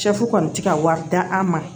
Sɛfu kɔni ti ka wari d'an ma